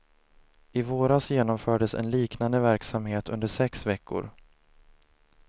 I våras genomfördes en liknande verksamhet under sex veckor.